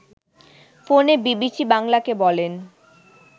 ফোনে বিবিসি বাংলাকে বলেন